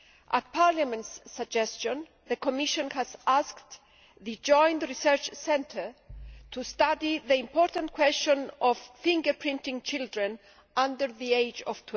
At Parliament's suggestion, the Commission has asked the Joint Research Centre to study the important question of fingerprinting children under the age of